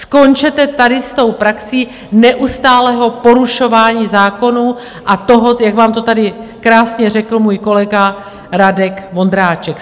Skončete tady s tou praxí neustálého porušování zákonů a toho, jak vám to tady krásně řekl můj kolega Radek Vondráček.